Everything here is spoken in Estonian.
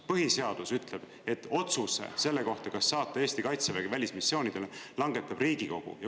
Põhiseadus ütleb, et otsuse selle kohta, kas saata Eesti Kaitsevägi välismissioonidele, langetab Riigikogu.